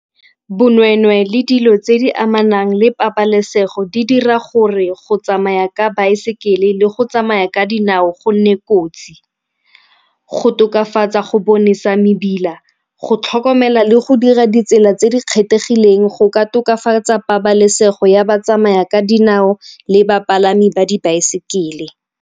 Bonweenwee le dilo tse di amanang le pabalesego di dira gore go tsamaya ka baesekele le go tsamaya ka dinao go nne kotsi. Go tokafatsa go bonesa mebila, go tlhokomela le go dira ditsela tse di kgethegileng go ka tokafatsa pabalesego ya batsamaya ka dinao le bapalami ba di baesekele.